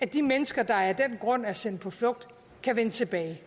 de mennesker der af den grund er sendt på flugt vende tilbage